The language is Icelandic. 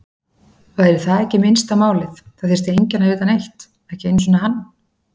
Væri það ekki minnsta málið, það þyrfti enginn að vita neitt, ekki einu sinni hann.